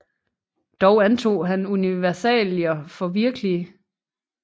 Dog antog han universalierne for virkelige